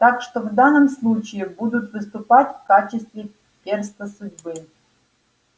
так что в данном случае будут выступать в качестве перста судьбы